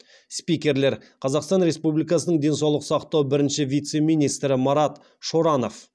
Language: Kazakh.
спикерлер қазақстан республикасының денсаулық сақтау бірінші вице министрі марат шоранов